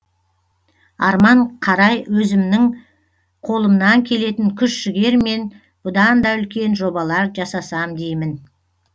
арман қарай өзімнің қолымнан келетін күш жігермен бұдан да үлкен жобалар жасасам деймін